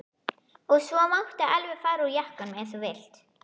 Og svo máttu alveg fara úr jakkanum ef þú vilt.